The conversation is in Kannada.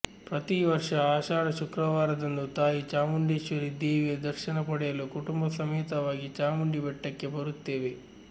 ಪ್ರತಿ ವರ್ಷ ಆಷಾಢ ಶುಕ್ರವಾರದಂದು ತಾಯಿ ಚಾಮುಂಡೇಶ್ವರಿ ದೇವಿಯ ದರ್ಶನ ಪಡೆಯಲು ಕುಟುಂಬ ಸಮೇತವಾಗಿ ಚಾಮುಂಡಿ ಬೆಟ್ಟಕ್ಕೆ ಬರುತ್ತೇವೆ